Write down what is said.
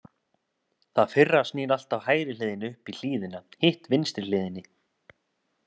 Það fyrra snýr alltaf hægri hliðinni upp í hlíðina, hitt vinstri hliðinni.